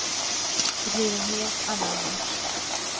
Det blir en helt annan match.